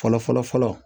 Fɔlɔ fɔlɔ fɔlɔ